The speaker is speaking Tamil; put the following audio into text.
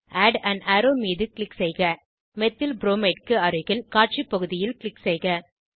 ஆட் ஆன் அரோவ் மீது க்ளிக் செய்க மெத்தில்ப்ரோமைட் க்கு அருகில் காட்சி பகுதியில் க்ளிக் செய்க